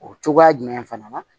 O cogoya jumɛn fana na